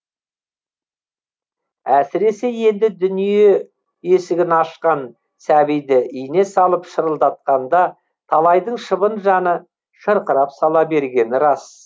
әсіресе енді дүние есігін ашқан сәбиді ине салып шырылдатқанда талайдың шыбын жаны шырқырап сала бергені рас